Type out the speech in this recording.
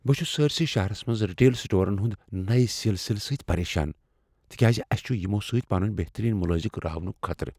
بہٕ چھس سٲرِسٕے شہرس منٛز ریٹیل سٹورن ہنٛدِ نیِہ سلسلہٕ سۭتۍ پریشان، تکیاز اسہ چھ یمو سۭتۍ پنٕنہِ بہترین ملٲزم راونُك خطرٕ۔